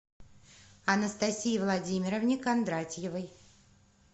анастасии владимировне кондратьевой